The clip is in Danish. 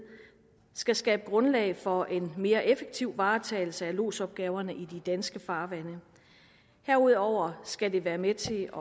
skal skabe grundlag for en mere effektiv varetagelse af lodsopgaverne i de danske farvande herudover skal det være med til